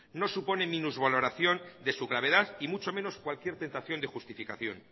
no supone minusvaloración de su gravedad y mucho menos cualquier tentación de justificación